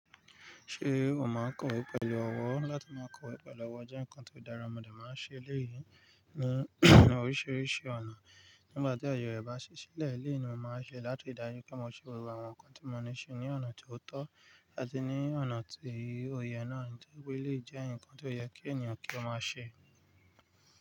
Ṣé o máa kọ̀wé pẹ̀lú ọwọ́? Láti máa kọ̀wé pẹ̀lú ọwọ́ jẹ́ nǹkan tó dára, mo dé máa ń ṣe eléyìí ní oríṣiríṣi ọ̀nà. Nígbà tí àyè rẹ̀ bá ṣí sílẹ̀, léyìí ni mo máa ṣe láti ri dájú pé mo ṣe gbogbo àwọn nǹkan tí mo ní lati ṣe ní ọ̀nà tó tọ́ àti ní ọ̀nà tí òye náà ní. Nítorí pé eléyìí jẹ́ nǹkan tó yẹ kí ènìyàn kí ó máa ṣe.